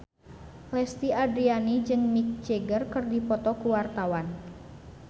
Lesti Andryani jeung Mick Jagger keur dipoto ku wartawan